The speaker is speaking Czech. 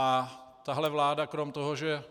A tahle vláda krom toho, že